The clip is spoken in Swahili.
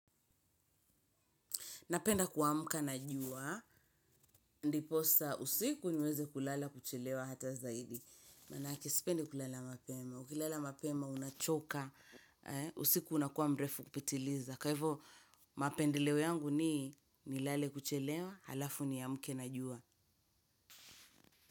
Napenda kuamuka na jua, ndiposa usiku niweze kulala kuchelewa hata zaidi. Manake sipende kulala mapema, kulala mapema unachoka, usiku unakuwa mrefu kupitiliza. Kwa hivyo, mapendeleo yangu ni nilale kuchelewa, halafu niamke na jua.